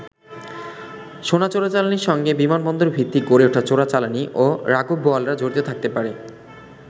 সোনা চোরাচালানির সঙ্গে বিমানবন্দর ভিত্তিক গড়ে ওঠা চোরাচালানি ও রাঘববোয়ালরা জড়িত থাকতে পারে।